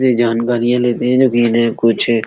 ये जानकारियां लेते हैं जो है कुछ --